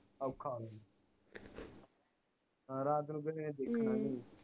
ਔਖਾ ਆ ਰਾਤ ਨੂੰ ਕਿਸੇ ਨੇ ਦੇਖਣਾ ਨੀ